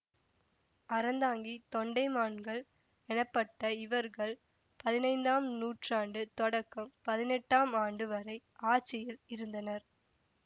அறந்தாங்கித் தொண்டைமான்கள் எனப்பட்ட இவர்கள் பதினைந்தாம் நூற்றாண்டு தொடக்கம் பதினெட்டாம் ஆண்டு வரை ஆட்சியில் இருந்தனர்